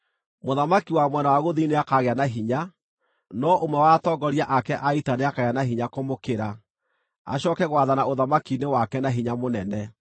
“Mũthamaki wa mwena wa gũthini nĩakagĩa na hinya, no ũmwe wa atongoria ake a ita nĩakagĩa na hinya kũmũkĩra, acooke gwathana ũthamaki-inĩ wake na hinya mũnene.